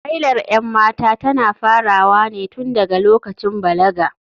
Hailar 'yan mata tana farawa ne tun daga lokacin balaga.